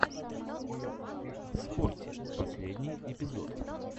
скорти последний эпизод